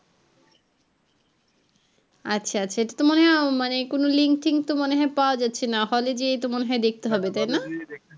আচ্ছা আচ্ছা এটার তো মনে হয়ই মানে কোনও link টিঙ্ক তো পাওয়া যাচ্ছে না hall যেয়েই তো মনে হয়ই দেখতে হবে তাই না hall যেয়েই দেখতে হবে